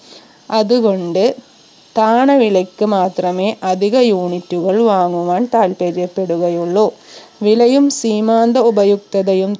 അതുകൊണ്ട് താണ വിലയ്ക്ക് മാത്രമേ അധിക unit കൾ വാങ്ങുവാൻ താല്പര്യപ്പെടുകയുള്ളൂ വിലയും സീമാന്ത ഉപയുക്തയതയും